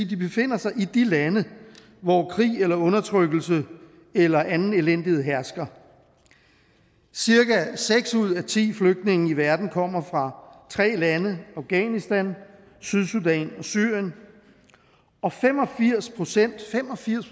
de befinder sig i de lande hvor krig eller undertrykkelse eller anden elendighed hersker cirka seks ud af ti flygtninge i verden kommer fra tre lande afghanistan sydsudan og syrien og fem og firs procent fem og firs